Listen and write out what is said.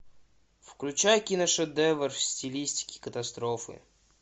включай киношедевр в стилистике катастрофы